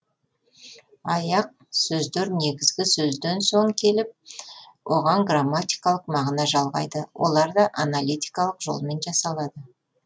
аяқ сөздер негізгі сөзден соң келіп оған грамматикалық мағына жалғайды олар да аналитикалық жолмен жасалады